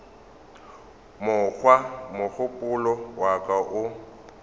mokgwa mogopolo wa ka o